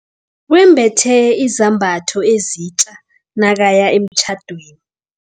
Wembethe izambatho ezitja nakaya emtjhadweni.